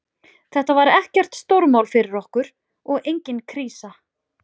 Þetta var ekkert stórmál fyrir okkur og engin krísa.